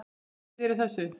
Kvíðirðu þessu?